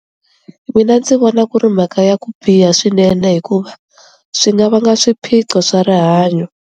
Mina ndzi vona ku ri mhaka ya ku biha swinene hikuva swi nga vanga swiphiqo swa rihanyo.